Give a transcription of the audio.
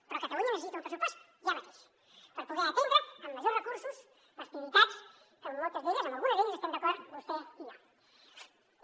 però catalunya necessita un pressupost ja mateix per poder atendre amb majors recursos les prioritats que en moltes d’elles en algunes d’elles estem d’acord vostè i jo